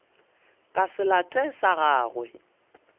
ka se late sa gagwe